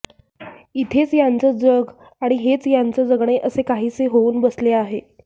इथेच यांचं जग आणि हेच यांचं जगणे असे काहीसे होऊन बसले आहे